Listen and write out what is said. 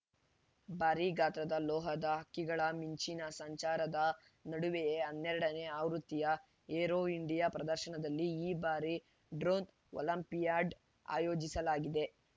ಭಾರಿ ಗಾತ್ರದ ಲೋಹದ ಹಕ್ಕಿಗಳ ಮಿಂಚಿನ ಸಂಚಾರದ ನಡುವೆಯೇ ಹನ್ನೆರಡನೇ ಆವೃತ್ತಿಯ ಏರೋ ಇಂಡಿಯಾ ಪ್ರದರ್ಶನದಲ್ಲಿ ಈ ಬಾರಿ ಡ್ರೋನ್‌ ಒಲಿಂಪಿಯಾಡ್‌ ಆಯೋಜಿಸಲಾಗಿದೆ